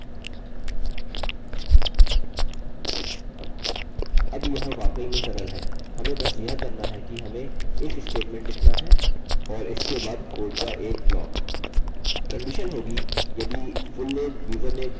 condition होगी यदि fullname username password और repeat password मौजूद हैं हमारे पास यहाँ प्रमाण है हम लिखेंगे if username आगे and अतः डबल एम्परसेंड चिह्न